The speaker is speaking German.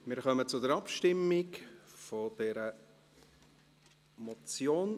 Wir kommen zur Abstimmung über diese Motion.